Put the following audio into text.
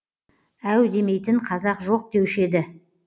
әу демейтін қазақ жоқ деуші еді